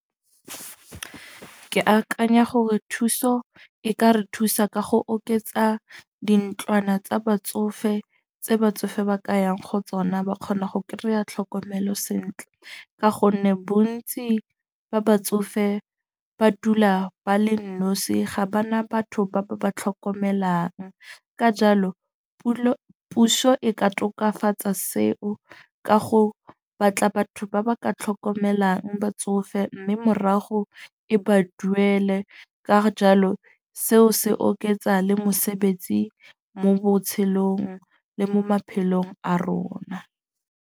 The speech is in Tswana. Ke akanya gore thuso e ka re thusa ka go oketsa dintlwana tsa batsofe tse batsofe ba ka yang go tsona. Ba kgona go kry-a tlhokomelo sentle. Ka gonne bontsi ba batsofe ba dula ba le nosi, ga bana batho ba ba tlhokomelang. Ka jalo puso e ka tokafatsa seo ka go batla batho ba ba ka tlhokomelang batsofe. Mme morago e ba duele ka jalo seo se oketsa le mosebetsi mo botshelong le mo maphelong a rona.